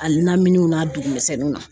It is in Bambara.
A laminiw n'a dugumisɛnninw na